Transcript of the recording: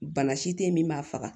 Bana si te yen min b'a faga